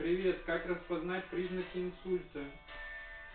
привет как распознать признаки инсульта